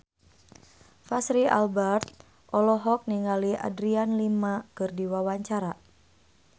Fachri Albar olohok ningali Adriana Lima keur diwawancara